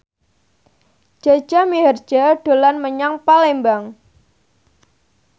Jaja Mihardja dolan menyang Palembang